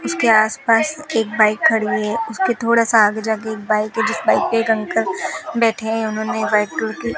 उसके आस पास एक बाइक खड़ी है उसके थोड़ा सा आगे जाके एक बाइक है जिस बाइक पे एक अंकल बैठे हैं उन्होंने व्हाइट कलर की --